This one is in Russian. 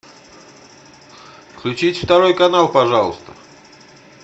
включить второй канал пожалуйста